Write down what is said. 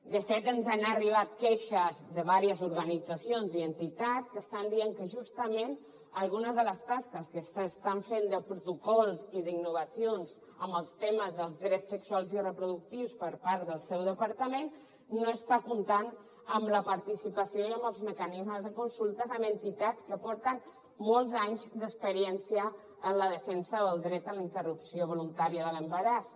de fet ens han arribat queixes de vàries organitzacions i entitats que estan dient que justament algunes de les tasques que s’estan fent de protocols i d’innovacions en els temes dels drets sexuals i reproductius per part del seu departament no està comptant amb la participació i amb els mecanismes de consultes amb entitats que tenen molts anys d’experiència en la defensa del dret a la interrupció voluntària de l’embaràs